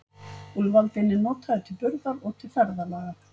Úlfaldinn er notaður til burðar og til ferðalaga.